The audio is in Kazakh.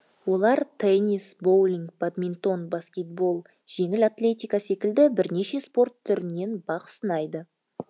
олар теннис боулинг бадминтон баскетбол жеңіл атлетика секілді бірнеше спорт түрінен бақ сынайды